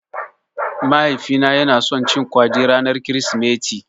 Mahaifina yana son cin kwaɗi ranar Kirsimeti.